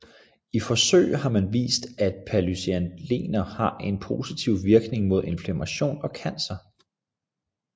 I forsøg har man vist at polyacetylener har en positiv virkning mod inflammation og cancer